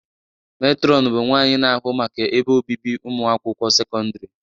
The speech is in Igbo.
Matron bụ nwanyị na-ahụ maka ebe obibi ụmụakwụkwọ sekọndrị.